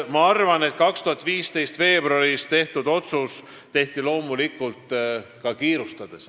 Ma arvan, et 2015. aasta veebruaris tehti otsus kiirustades.